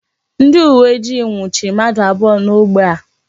Ndị uwe ojii nwuchiri mmadụ abụọ n'ógbè a.